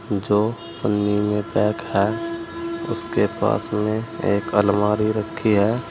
जो पन्नी में पैक है उसके पास में एक अलमारी रखी है।